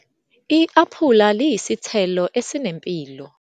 I-aphula liyisithelo esinempilo.